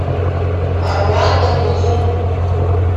орландо блум